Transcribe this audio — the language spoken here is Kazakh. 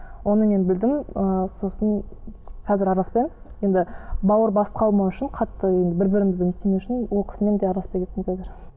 оны мен білдім ыыы сосын қазір араласпаймын енді бауыр басып қалмау үшін қатты енді бір бірімізді не істемеу үшін ол кісімен де араласпай кеттім қазір